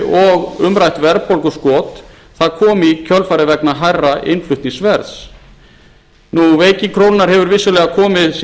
og umrætt verðbólguskot kom í kjölfarið vegna hærra innflutningsverðs veiking krónuna hefur vissulega komið sér